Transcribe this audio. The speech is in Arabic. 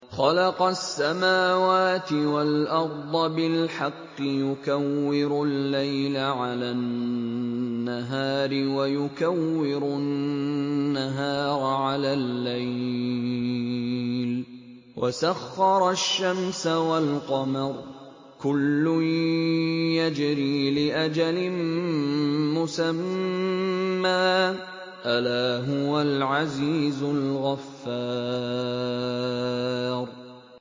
خَلَقَ السَّمَاوَاتِ وَالْأَرْضَ بِالْحَقِّ ۖ يُكَوِّرُ اللَّيْلَ عَلَى النَّهَارِ وَيُكَوِّرُ النَّهَارَ عَلَى اللَّيْلِ ۖ وَسَخَّرَ الشَّمْسَ وَالْقَمَرَ ۖ كُلٌّ يَجْرِي لِأَجَلٍ مُّسَمًّى ۗ أَلَا هُوَ الْعَزِيزُ الْغَفَّارُ